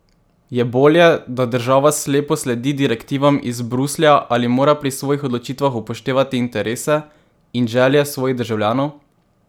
Je bolje, da država slepo sledi direktivam iz Bruslja ali mora pri svojih odločitvah upoštevati interese in želje svojih državljanov?